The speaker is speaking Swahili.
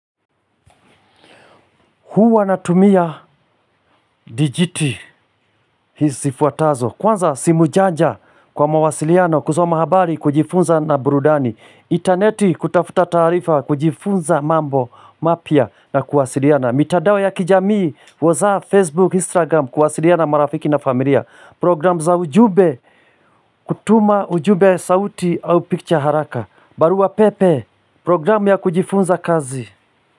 Huwa natumia dijiti, hizi sifuatazo. Kwanza simu janja kwa mawasiliano kusoma habari kujifunza na burudani. Intaneti kutafuta taarifa kujifunza mambo mapya na kuwasiliana. Mitandao ya kijamii, whatsapp Facebook, Instagram kuwasiliana na marafiki na familia. Program za ujumbe, kutuma ujumbe sauti au picture haraka. Barua pepe, program ya kujifunza kazi.